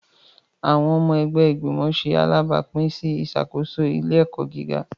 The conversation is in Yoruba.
Awọn ọmọ ẹgbẹ́ igbimọ ṣe alabapin sí ìṣàkóso ilé-ẹkọ gíga